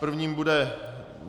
Prvním bude